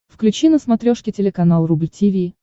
включи на смотрешке телеканал рубль ти ви